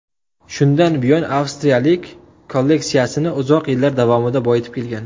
Shundan buyon avstriyalik kolleksiyasini uzoq yillar davomida boyitib kelgan.